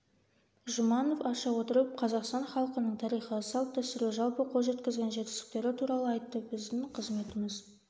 жұманов аша отырып қазақстан халқының тарихы салт-дәстүрі жалпы қол жеткізген жетістіктері туралы айтты біздің қызметіміз